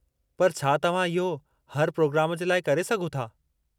पर छा तव्हां इहो हर पिरोग्राम जे लाइ करे सघो था?